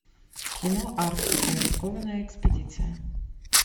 кино арктика рискованная экспедиция